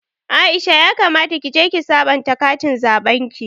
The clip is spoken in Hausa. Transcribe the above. Aisha ya kamata kije ki sabanta katin zaɓen ki